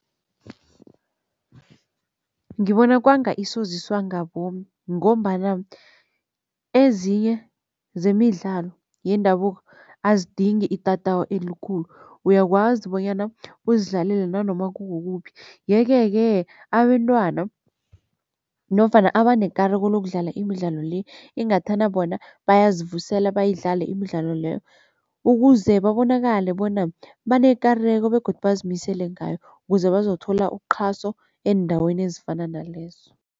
Ngibona kwanga isoziswa ngabomu ngombana ezinye zemidlalo yendabuko azidingi itatawu elikhulu. Uyakwazi bonyana uzidlalele nanoma kukuphi yeke-ke abentwana nofana abanekareko lokudlala imidlalo le ingathana bona bayazivusela bayidlale imidlalo leyo, ukuze babonakale bona banekareko begodu bazimisele ngayo, kuze bazokuthola uqhaso eendaweni ezifana nalezo.